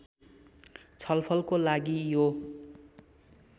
छलफलको लागि यो